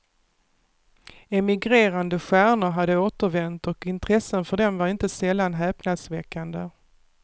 Emigrerade stjärnor hade återvänt och intressen för dem var inte sällan häpnadsväckande.